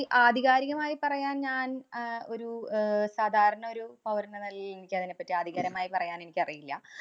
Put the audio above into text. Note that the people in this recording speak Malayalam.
ആധികാരികമായി പറയാന്‍ ഞാന്‍ അഹ് ഒരു അഹ് സാധാരണ ഒരു പൗരന്‍ എന്ന നെലേല്‍ എനിക്ക് അതിനെ പറ്റി ആധികാരികമായി പറയാന്‍ എനിക്കറിയില്ല.